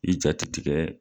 I ja ti tigɛ